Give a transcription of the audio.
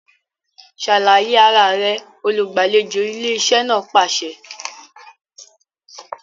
Ṣàlàyé ara rẹ! olùgbàlejò ilé iṣẹ́ náà pàṣẹ